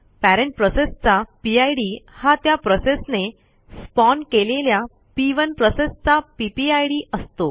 parent प्रोसेसचा PID हा त्या प्रोसेसने स्पॉन केलेल्या पी1 प्रोसेसचा पीपीआयडी असतो